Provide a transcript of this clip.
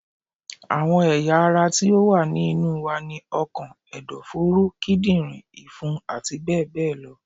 Àwọn ẹ̀yà ara ti ó wà ní inú wa ni: ọkàn, ẹ̀dọ̀-fóró, Kídìrín, ìfun àti bẹ́ẹ̀ bẹ́ẹ̀ lọ